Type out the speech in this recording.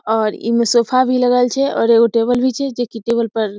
और इमे सोफा भी लगल छै और एगो टेबल भी छै जे की टेबल पर --